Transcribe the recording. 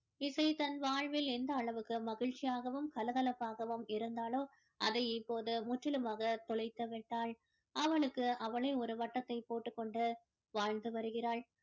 இசை தன் வாழ்வில் எந்த அளவிற்கு மகிழ்ச்சியாகவும் கலகலப்பாகவும் இருந்தாளோ அதை இப்போது முற்றிலுமாக தொலைத்து விட்டாள் அவளுக்கு அவளே ஒரு வட்டத்தை போட்டுக் கொண்டு வாழ்ந்து வருகிறாள்